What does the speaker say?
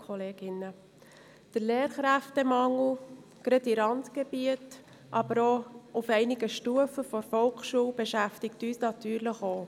Der Lehrkräftemangel in Randgebieten, aber auch auf gewissen Stufen der Volksschule beschäftigt uns natürlich auch.